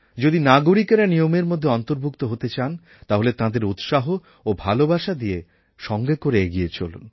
যদি নাগরিকেরা নিয়মের মধ্যে অন্তর্ভুক্ত হতে চান তাহলে তাঁদের উৎসাহ ও ভালোবাসা দিয়ে সঙ্গে করে এগিয়ে চলুন